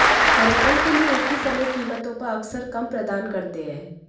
पर्यटन के लिए एक ही समय कीमतों पर अक्सर कम प्रदान करते हैं